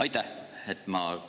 Aitäh!